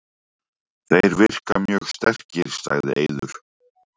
Þeir virka mjög sterkir, sagði Eiður.